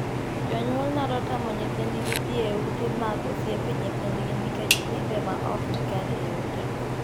Jonyuol nyalo tamo nyithindgi dhii e ute mag osiepe nyithindgi nikech timbe ma ok ni kare e utego.